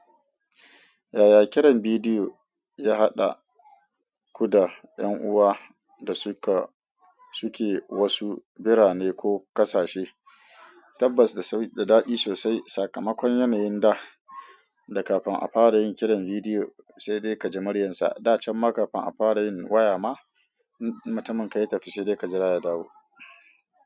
Yaya kiran bidiyo ya haɗa ku da 'yan uwa da suke wasu birane ko ƙasashe, tabbas da daɗi sosai. Sakamakon yanayin da da kafin a fara yin kiran bidiyo, sai dai ka ji muryarsa. Da can ma kafin a fara yin waya ma, in mutumin ka ya tafi sai dai ka jira ya dawo.